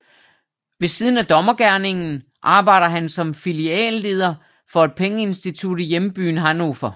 Ved siden af dommergerningen arbejder han som filialleder for et pengeinstitut i hjembyen Hannover